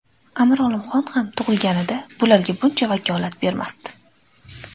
Amir Olimxon ham tug‘ilganida bularga buncha vakolat bermasdi.